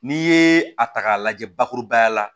N'i ye a ta k'a lajɛ bakurubaya la